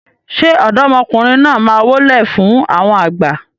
ṣe ọ̀dọ́mọkùnrin náà má wólẹ̀ fún àwọn àgbà?